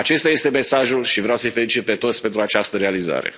Acesta este mesajul și vreau să i felicit pe toți pentru această realizare.